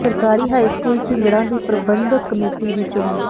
ਸਰਕਾਰੀ high school Jhingran ਦੀ ਪ੍ਰਬੰਧਕ ਕਮੇਟੀ ਦੀ ਚੋਣ